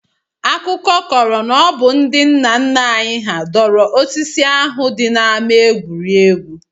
Akụkọ kọrọ na ọ bụ ndị nna nna anyị hà dọrọ osisi ahụ dị n'ama egwuregwu